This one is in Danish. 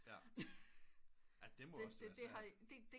Ja det må også være svært